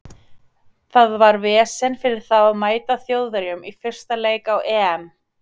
Það var vesen fyrir þá að mæta Þjóðverjum í fyrsta leik á EM.